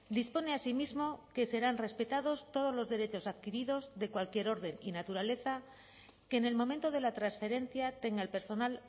dispone asimismo que serán respetados todos los derechos adquiridos de cualquier orden y naturaleza que en el momento de la transferencia tenga el personal